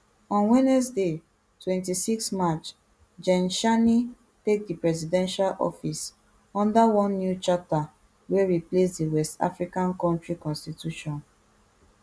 on wednesday twenty-six march gen tchiani take di presidential office under one new charter wey replace di west african kontri constitution